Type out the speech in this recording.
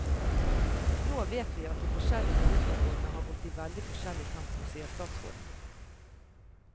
Nå vet vi at de forskjellige tariffområdene har gått i veldig forskjellig tempo, sier statsråden.